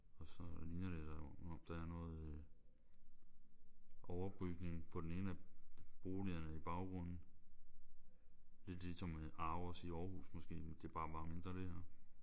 Og så ligner det som om der er noget øh overbygning på den ene af boligerne i baggrunden lidt ligesom ARoS i Aarhus måske det er bare mindre det her